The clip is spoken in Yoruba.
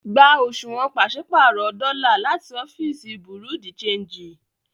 Gbà òṣuwọ́n pàṣipárọ̀ dọ́lá láti òfìíṣí Bureau-de-chanjì!